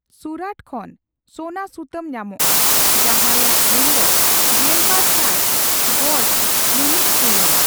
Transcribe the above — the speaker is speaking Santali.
ᱥᱩᱨᱟᱹᱴ ᱠᱷᱚᱱ ᱥᱳᱱᱟ ᱥᱩᱛᱟᱹᱢ ᱧᱟᱢᱚᱜᱼᱟ ᱡᱟᱹᱦᱟ ᱨᱮᱭᱟᱜ ᱜᱩᱱ ᱫᱚ ᱜᱮᱞᱵᱟᱨ ᱥᱟᱭ ᱜᱚᱡ ᱢᱤᱼᱢᱤᱫ ᱛᱩᱞᱟᱢ ᱾